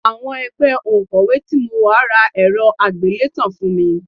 Àwọn ẹgbẹ́ òǹkọ́wé tí mo wà ra ẹ̀rọ àgbélétan fún mi